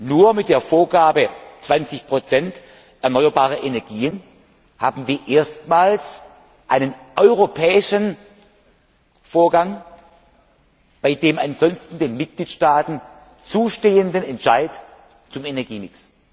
Nur mit der Vorgabe 20 erneuerbarer Energien haben wir erstmals einen europäischen Vorgang bei der ansonsten den Mitgliedstaaten zustehenden Entscheidung über den Energiemix.